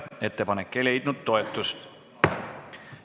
Ettepanek ei leidnud toetust.